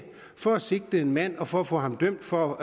for at sigte en mand og for at få ham dømt for